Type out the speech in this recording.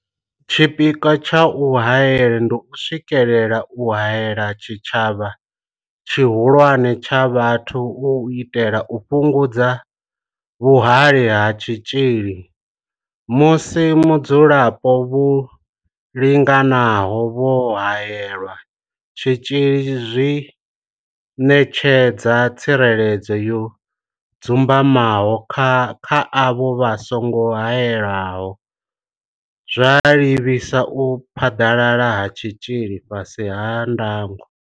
Tshipikwa tsha u haela ndi u swikelela u haela tshitshavha tshihulwane tsha vhathu u itela u fhungudza vhuhali ha tshitzhili musi vhadzulapo vho linganaho vho haelelwa tshitzhili zwi ṋetshedza tsireledzo yo dzumbamaho kha avho vha songo haelwaho, zwa livhisa u phaḓalala ha tshitzhili fhasi ha ndango.